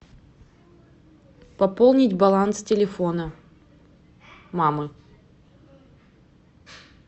пополнить баланс телефона мамы